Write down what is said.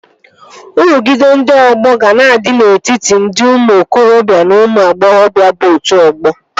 Nrụgide ndị ọgbọ ga na-adị n'etiti ndị ụmụ okorobịa na ụmụ agbọghọbịa bụ otu ọgbọ